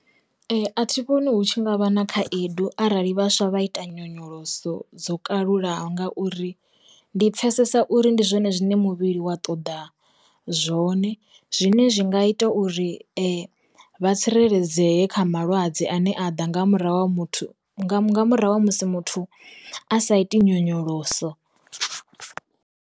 A thi vhoni hu tshi ngavha na khaedu arali vhaswa vha ita nyonyoloso dzo kalulaho ngauri, ndi pfhesesa uri ndi zwone zwine muvhili wa ṱoḓa zwone zwine zwi nga ita uri vha tsireledzee kha malwadze ane a ḓa nga murahu ha muthu nga murahu ha musi muthu a sa iti nyonyoloso.